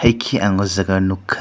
ekhi ang aw jaaga nugkha.